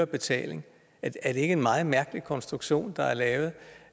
betaling er det ikke en meget mærkelig konstruktion der er lavet